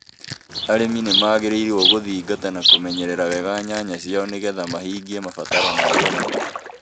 Arĩmi nĩ magĩrĩirũo guthingata na kũmenyerera wega nyanya ciao nĩ getha mahingie mabataro ma thoko